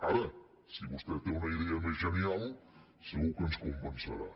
ara si vostè té una idea més genial segur que ens convencerà